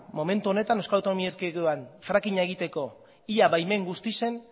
momentu honetan euskal autonomia erkidegoan frackinga egiteko ia baimen guztien